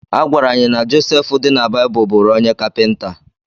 A gwara anyị na Joseph dị na Baịbụl bụụrụ onye kapịnta.